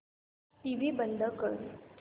TV बंद कर